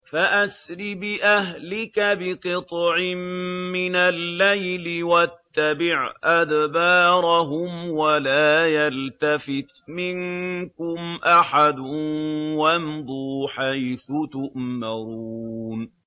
فَأَسْرِ بِأَهْلِكَ بِقِطْعٍ مِّنَ اللَّيْلِ وَاتَّبِعْ أَدْبَارَهُمْ وَلَا يَلْتَفِتْ مِنكُمْ أَحَدٌ وَامْضُوا حَيْثُ تُؤْمَرُونَ